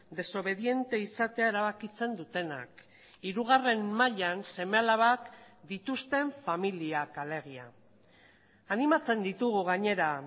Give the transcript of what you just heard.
desobediente izatea erabakitzen dutenak hirugarren mailan seme alabak dituzten familiak alegia animatzen ditugu gainera